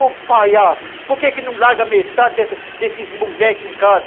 Ô, palhaço, por que não larga metade desses moleques em casa?